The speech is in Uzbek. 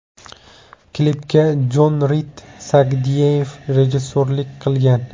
Klipga Jonrid Sagdiyev rejissyorlik qilgan.